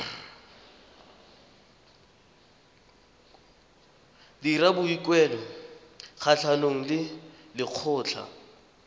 dira boikuelo kgatlhanong le lekgotlha